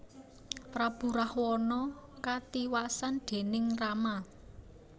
Prabu Rahwana katiwasan déning Rama